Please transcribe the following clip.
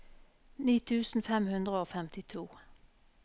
ni tusen fem hundre og femtito